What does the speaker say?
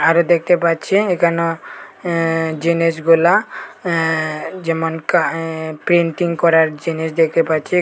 আরো দেখতে পাচ্ছি এখানেও অ্যা জিনিসগুলা অ্যা যেমন কা অ্যা পেন্টিং করার জিনিস দেখতে পাচ্ছি।